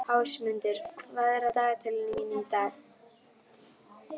Ásmundur, hvað er á dagatalinu mínu í dag?